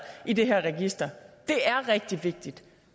i det her register det er rigtig vigtigt